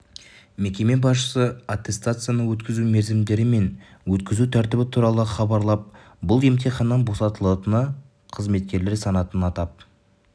мекеме басшысы аттестацияны өткізу мерзімдері мен өткізу тәртібі туралы хабарлап бұл емтиханнан босатылатын қызметкерлер санатын атап